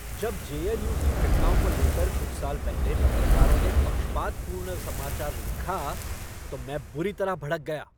जब जे.एन.यू. की घटनाओं को लेकर कुछ साल पहले पत्रकारों ने पक्षपातपूर्ण समाचार लिखा तो मैं बुरी तरह भड़क गया।